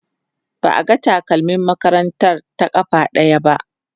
ba a ga takalmin makarantar ta ƙafa ɗaya ba